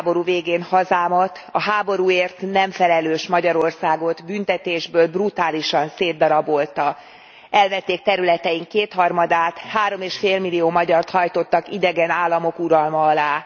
Világháború végén hazámat, a háborúért nem felelős Magyarországot büntetésből brutálisan szétdarabolta elvették területeink kétharmadát, három és fél millió magyart hajtottak idegen államok uralma alá.